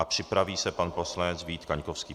A připraví se pan poslanec Vít Kaňkovský.